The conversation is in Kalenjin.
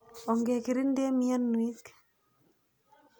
Onge kirinde mianwek.